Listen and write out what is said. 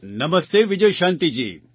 Namaste Vijayshantiji